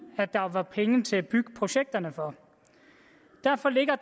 at der var penge til at bygge projekterne for derfor ligger